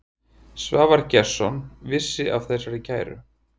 Svavar Gestsson vissi af þessari kæru.